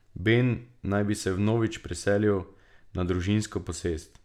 Ben naj bi se vnovič preselil na družinsko posest.